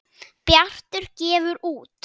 Bjartur gefur út.